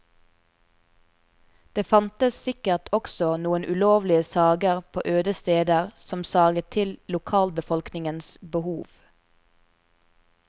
Det fantes sikkert også noen ulovlige sager på øde steder som saget til lokalbefolkningens behov.